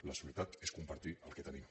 la solidaritat és compartir el que tenim